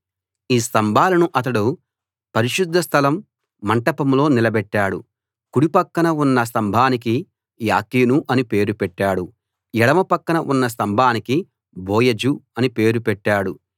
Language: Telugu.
ఈ స్తంభాలను అతడు పరిశుద్ధ స్థలం మంటపంలో నిలబెట్టాడు కుడి పక్కన ఉన్న స్తంభానికి యాకీను అని పేరు పెట్టాడు ఎడమ పక్కన ఉన్న స్తంభానికి బోయజు అని పేరు పెట్టాడు